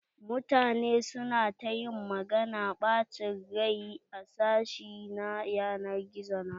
Mutane su na ta ƴin magana na ɓachen rai a sashi na ƴanar gizo na ta.